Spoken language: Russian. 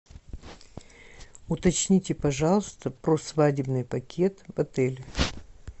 уточните пожалуйста про свадебный пакет в отеле